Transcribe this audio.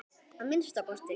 Að minnsta kosti.